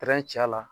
ci a la